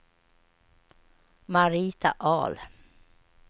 Marita Ahl